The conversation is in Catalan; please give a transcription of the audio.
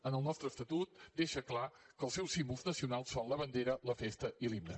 en el nostre estatut deixa clar que els seus símbols nacionals són la bandera la festa i l’himne